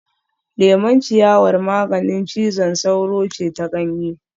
Lemon ciyawar maganin cizon sauro ce ta ganye